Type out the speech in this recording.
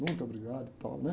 Muito obrigado e tal, né?